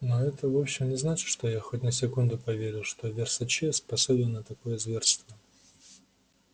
но это вовсе не значит что я хоть на секунду поверил что версаче способен на такое зверство